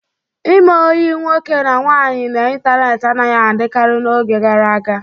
Ime ọyi nwoke na nwaanyị n'ịntanetị anaghị adịkarị n'oge gara aga.